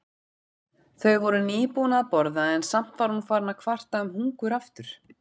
Þau voru nýbúin að borða en samt var hún farin að kvarta um hungur aftur.